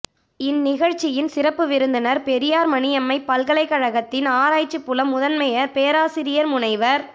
இந்நிகழ்ச்சியின் சிறப்பு விருந்தினர் பெரியார் மணி யம்மை பல்கலைக் கழகத்தின் ஆராய்ச்சி புல முதன்மையர் பேராசிரியர் முனைவர்